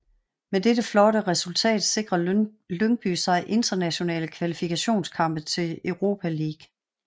Med det det flotte resultat sikrer Lyngby sig internationale kvalifikationskampe til Europa League